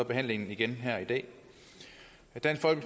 jeg